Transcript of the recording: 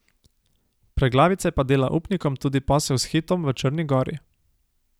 Preglavice pa dela upnikom tudi posel s Hitom v Črni gori.